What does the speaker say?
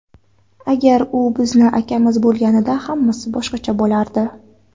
Agar u bizni akamiz bo‘lganida hammasi boshqacha bo‘lardi.